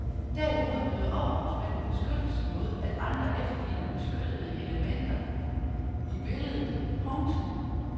Derimod nyder ophavsmanden beskyttelse mod at andre efterligner beskyttede elementer i billedet. punktum